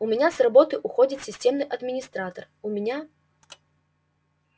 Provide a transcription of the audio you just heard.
у меня с работы уходит системный администратор у меня